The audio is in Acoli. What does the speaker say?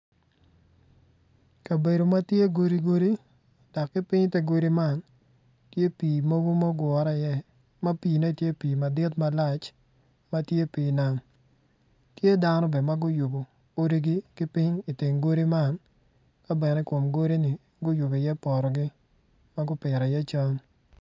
Kabedo ma tye godi godi dok ki piny ite godi man tye pii mogo ma ogure iye ma piine tye pii madit malac ma tye pii nam tye dano bene ma guyubo odigi ki piny iteng godi man ka bene i kom godini guyubo iye potogi ma gupito iye cam.